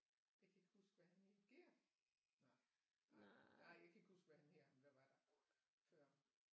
Jeg kan ikke huske hvad han hed Gert nej nej jeg kan ikke huske hvad han hedder ham der var derude før